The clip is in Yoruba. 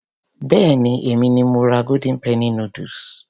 Béèni èmi ni mo ra golden penny noodles.